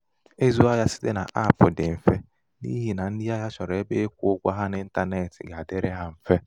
ịzụ ahịa site n-apulu dị mfe n'ihi ndị ahịa chọrọ ebe ịkwụ ha ụgwọ n'intanetị ga-adịrị ha mfe.